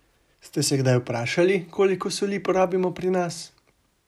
Ste se kdaj vprašali, koliko soli porabimo pri nas?